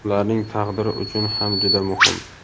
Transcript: ularning taqdiri uchun ham juda muhim.